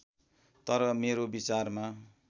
तर मेरो विचारमा